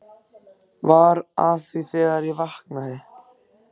Var að því þegar ég vaknaði.